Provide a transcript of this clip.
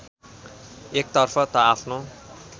एकतर्फ त आफ्नो